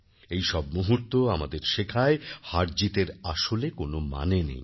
এইসব মুহূর্ত আমাদের শেখায় হারজিতের আসলে কোনো মানে নেই